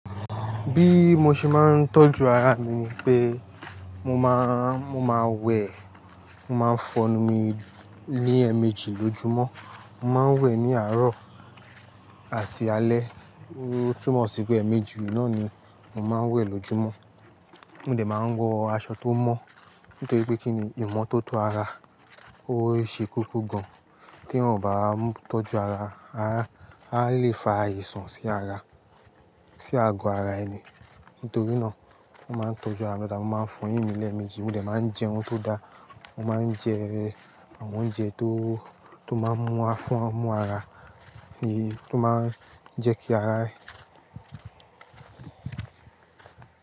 Bí mo ṣe máa ń tọ́jú ara mi ni pé mo máa, mo máa wẹ̀, mo máa fọ́nu mi ní ẹẹmeji lojúmọ́. Mo máa ń wẹ̀ ní àárọ̀ àti alẹ́. Ó túmọ̀ sí pé ẹẹmeji naá ni mo máa ń wẹ̀ lójúmọ́. Mo dè máa ń wọ aṣọ tó mọ́ nítorí pé kíni, ìmọ́tótó ara ó ṣe koko gan tí èeyàn ò bá tọ́jú ara. Ara, a lè fa àìsàn sí ara, sí ago ara ẹni. Nítorí náà, mo máa ń tọ́jú ara mi daadaa, mo máa ń fọ́yìn mí lẹẹmeji. Mo dè máa ń jẹ ohun tó da. Mo máa ń jẹ àwọn oúnjẹ tó, tó máa ń mú afún, mú ara, tó máa ń jẹ́ kí ara.